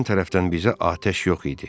Düşmən tərəfdən bizə atəş yox idi.